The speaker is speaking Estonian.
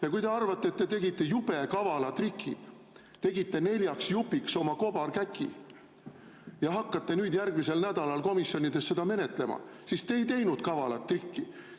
Ja kui te arvate, et te tegite jube kavala triki, tegite neljaks jupiks oma kobarkäki ja hakkate nüüd järgmisel nädalal komisjonides neid menetlema, siis te ei teinud kavalat trikki.